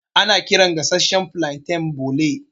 Ana kiran gasashshan flanten bole.